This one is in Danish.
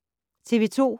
TV 2